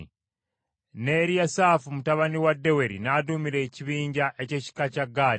ne Eriyasaafu mutabani wa Deweri n’aduumira ekibinja ky’ekika kya Gaadi.